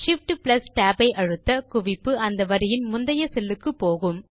Shift tab ஐ அழுத்த குவிப்பு அந்த வரியின் முந்தைய செல் க்கு போகும்